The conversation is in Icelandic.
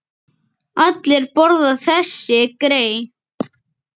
Allir borða þessi grey.